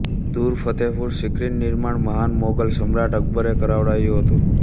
દૂર ફતેહપુર સિક્રીનું નિર્માણ મહાન મોગલ સમ્રાટ અકબરે કરાવડાવ્યું હતું